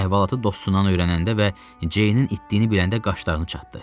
Əhvalatı dostundan öyrənəndə və Ceynin itdiyini biləndə qaşlarını çatdı.